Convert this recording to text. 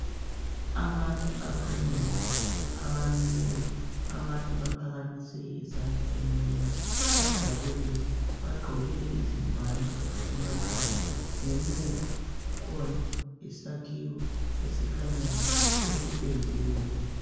Abantu abanengi abamileyo abanye baphakamise izandla emoyeni bajabululile bagqokile izingwane emakhanda ngemuva kukhona isakhiwo esikhanyayo esipendiweyo